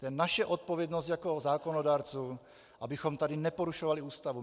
To je naše odpovědnost jako zákonodárců, abychom tady neporušovali Ústavu.